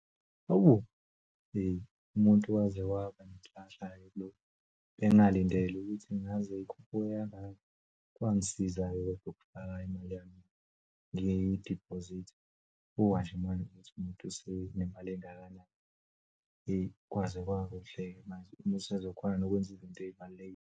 Hawu, hheyi umuntu waze wabanenhlanhla-ke kulokhu. Bengingalindele ukuthi ngaze ikhuphuke kangaka kwangisiza-ke ukufaka imali yami ngiyidiphozitha. Bukake manje ukuthi umuntu usenemali engakanani eyi kwaze kwakuhleke manje umuntu usezokhona nokwenza izinto eyibalulekile.